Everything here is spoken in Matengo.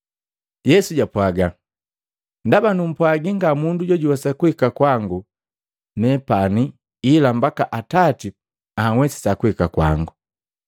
Yesu japwaga, “Ndaba numpwaji nga mundu jojuwesa kuhika kwangu nepani ila mbaka Atati anhwesisa kuhika kwangu.”